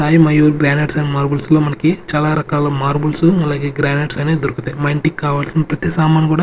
Sai Mayur banners and marbles లో మనకి చాలా రకాలు మార్బుల్సు అలాగే గ్రానైట్స్ అనేది దొరుకుతాయ్ మా ఇంటికి కావాల్సిన ప్రతి సామాన్ కూడా--